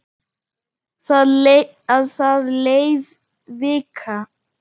Það leið vika.